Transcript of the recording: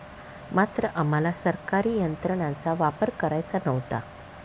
मात्र आम्हाला सरकारी यंत्रणांचा वापर करायचा नव्हता.